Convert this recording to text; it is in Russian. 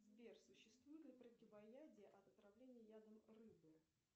сбер существует ли противоядие от отравления ядом рыбы